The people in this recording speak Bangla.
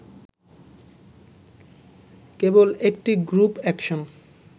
কেবল একটি গ্রুপ একশন